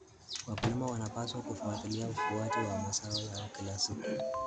Wakulima wanapaswa kufuatilia ukuaji wa mazao yao kila siku.